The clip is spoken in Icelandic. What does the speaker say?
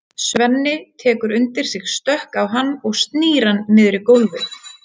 Svenni tekur undir sig stökk á hann og snýr hann niður í gólfið.